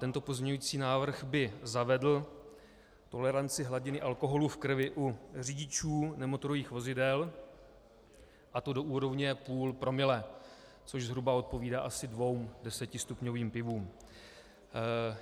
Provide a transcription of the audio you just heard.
Tento pozměňující návrh by zavedl toleranci hladiny alkoholu v krvi u řidičů nemotorových vozidel, a to do úrovně půl promile, což zhruba odpovídá asi dvěma desetistupňovým pivům.